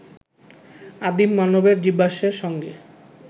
আদিম মানবের জীবাশ্মের সঙ্গে